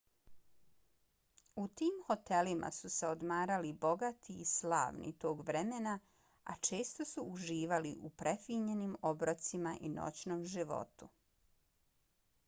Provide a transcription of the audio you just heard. u tim hotelima su se odmarali bogati i slavni tog vremena a često su uživali u prefinjenim obrocima i noćnom životu